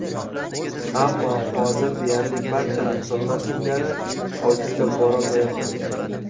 Ammo hozir deyarli barcha insonlar singari ofisga borolmayapman.